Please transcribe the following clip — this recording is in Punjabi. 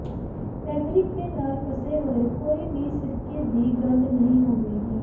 ਫੈਬਰਿਕ ਦੇ ਨਾਲ ਫਸੇ ਹੋਏ ਕੋਈ ਵੀ ਸਿਰਕੇ ਦੀ ਗੰਧ ਨਹੀਂ ਹੋਵੇਗੀ